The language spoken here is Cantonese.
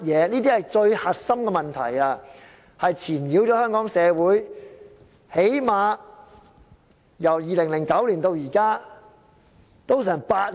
這些是最核心的問題，纏擾了香港社會最少——由2009年至今——已經有8年了。